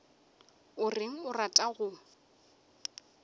o reng o rata go